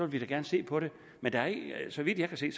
vi da gerne se på det men så vidt jeg kan se